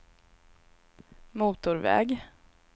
motorväg